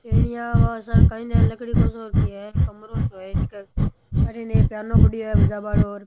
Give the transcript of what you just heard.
Taenia काई लकडिया को सो की है कमरों सो है एक अठीने एक पियानो पड़ियो है बजा बालो।